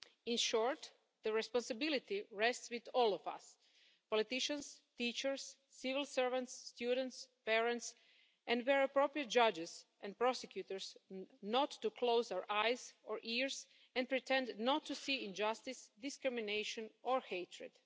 In short, the responsibility rests with all of us politicians, teachers, civil servants, students, parents and, where appropriate, judges and prosecutors not to close our eyes or ears and pretend not to see injustice, discrimination or hatred.